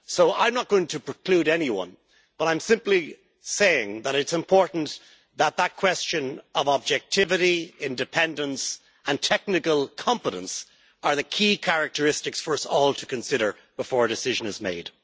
I am not going to preclude anyone, but I am simply saying that it is important that that question of objectivity, independence and technical competence are the key characteristics for us all to consider before a decision is made.